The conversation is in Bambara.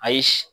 Ayi